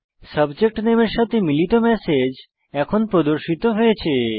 subject নেমের সাথে মিলিত ম্যাসেজ প্রদর্শিত হয়েছে